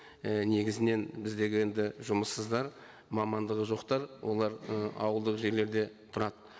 і негізінен біздегі енді жұмыссыздар мамандығы жоқтар олар ы ауылдық жерлерде тұрады